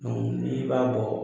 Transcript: n'i b'a bɔ